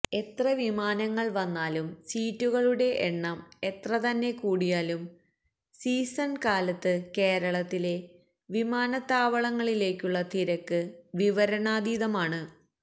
എത്ര വിമാനങ്ങൾ വന്നാലും സീറ്റുകളുടെ എണ്ണം എത്രതന്നെ കൂടിയാലും സീസൺ കാലത്ത് കേരളത്തിലെ വിമാനത്താവളങ്ങളിലേക്കുള്ള തിരക്ക് വിവരണാതീതമാണ്